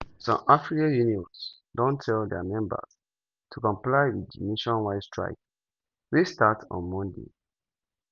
already some affiliate unions don tell dia members to comply wit di nationwide strike wey start on monday.